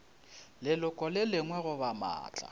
leloko le lengwe goba maatla